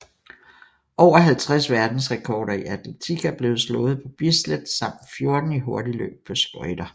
Over 50 verdensrekorder i atletik er blevet slået på Bislett samt 14 i hurtigløb på skøjter